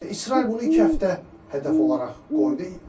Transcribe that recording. İsrail bunu iki həftə hədəf olaraq qoydu.